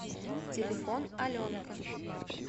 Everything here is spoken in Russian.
телефон аленка